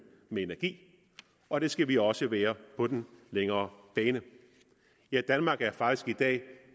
med energi og det skal vi også være på den længere bane ja danmark er faktisk i dag